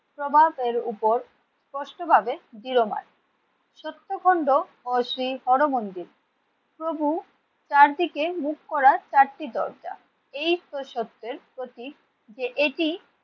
প্রভাবের উপর স্পষ্টভাবে দৃঢ়মান। সত্তখণ্ড ও শ্রী হর মন্দির প্রভু চারদিকে মুখ করার চারটি দরজা। এই পুরুষত্বের প্রতি যে এটি